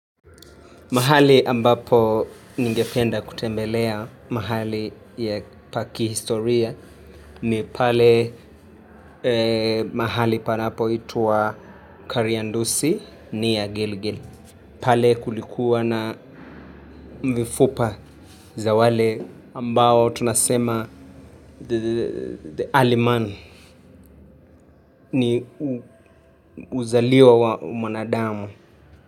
Mahali ambapo ningependa kutembelea mahali pa kihistoria ni pale mahali panapoitwa Kariandusi ni ya Gilgil. Pale kulikuwa na mifupa za wale ambao tunasema the early man ni uzaliwa wa mwanadamu.